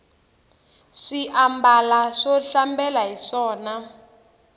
swi ambala swo hlambela hiswona